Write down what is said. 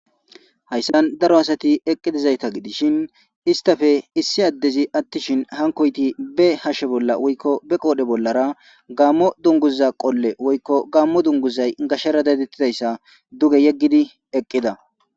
hayssan daro asati eqqi dizayta gidishin istafe issi addezi attishin hankoyti be hashe bolla woykko be qoodhe bollara gaammo dunguza qolle woykko gaammo dunguzay gashere dadettidayssa duge yeggidi eqqida